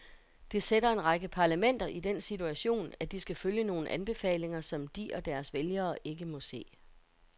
Det sætter en række parlamenter i den situation, at de skal følge nogle anbefalinger, som de og deres vælgere ikke må se.